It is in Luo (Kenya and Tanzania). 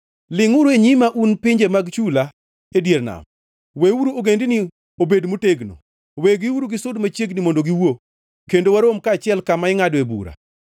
“Lingʼuru e nyima, un pinje mag chula e dier nam! Weuru ogendini obed motegno! Wegiuru gisud machiegni mondo giwuo; kendo warom kaachiel kama ingʼadoe bura.